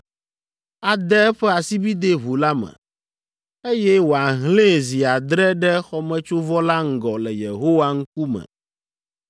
ade eƒe asibidɛ ʋu la me, eye wòahlẽe zi adre ɖe xɔmetsovɔ la ŋgɔ le Yehowa ŋkume.